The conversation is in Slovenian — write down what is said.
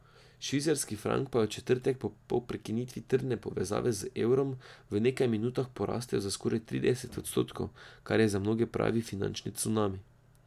Švicarski frank pa je v četrtek po prekinitvi trdne povezave z evrom v nekaj minutah porastel za skoraj trideset odstotkov, kar je za mnoge pravi finančni cunami.